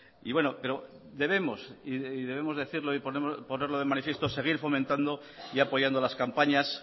y bueno debemos decirlo y ponerlo de manifiesto seguir fomentando y apoyando las campañas